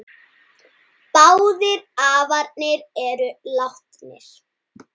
Báðir afarnir eru látnir.